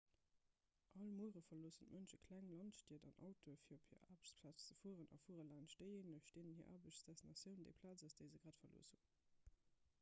all muere verloossen d'mënsche kleng landstied an autoen fir op hir aarbechtsplaz ze fueren a fuere laanscht déijéineg deenen hir aarbechtsdestinatioun déi plaz ass déi se grad verlooss hunn